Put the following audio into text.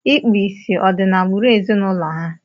Ịkpu ìsì ọ̀ di n'agbụrụ ezinụlọ ha?